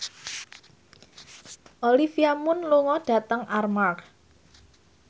Olivia Munn lunga dhateng Armargh